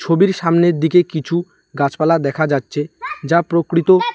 ছবির সামনের দিকে কিছু গাছপালা দেখা যাচ্ছে যা প্রকৃত।